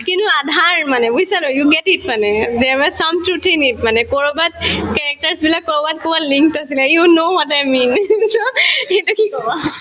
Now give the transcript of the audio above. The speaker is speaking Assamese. আধাৰ মানে বুজিছা you get it মানে there was some truth in it মানে কৰবাত characters বিলাক কৰবাত কৰবাত link আছিলে you know what i mean কি কবা